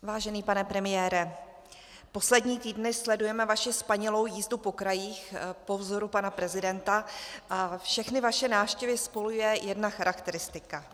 Vážený pane premiére, poslední týdny sledujeme vaši spanilou jízdu po krajích po vzoru pana prezidenta a všechny vaše návštěvy spojuje jedna charakteristika.